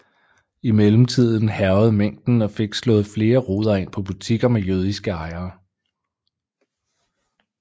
I mellemtiden hærgede mængden og fik slået flere ruder ind på butikker med jødiske ejere